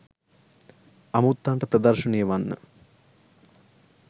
අමුත්තන්ට ප්‍රදර්ශනය වන්න